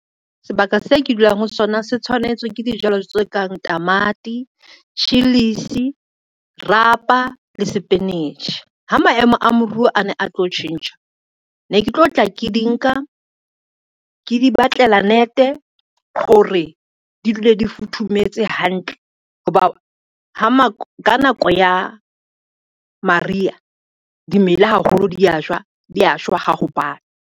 Sebaka se ke dulang ho sona se tshwanetse ke dijalo tse kang tamati, chillies, rapa le sepinetjhe. Ha maemo a moruo a ne a tlo tjhentjha ne ke tlo tla ke di nka, ke di batlela net hore di dule di futhumetse hantle ho ba ka nako ya mariha dimela haholo dia shwa, di ya shwa ha ho bata.